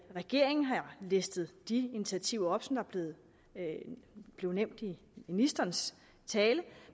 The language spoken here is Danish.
regeringen har listet de initiativer op som er blevet nævnt i ministerens tale